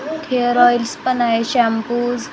hair oils पण आहे shampoos --